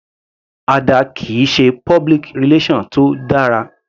Ada kìí ṣe public relation tó dára.